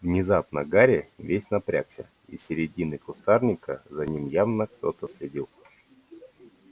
внезапно гарри весь напрягся из середины кустарника за ним явно кто-то следил